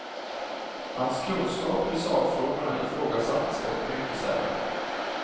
Hans kunskaper i sakfrågorna ifrågasattes dock mycket sällan.